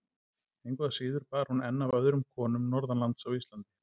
Engu að síður bar hún enn af öðrum konum norðanlands á Íslandi.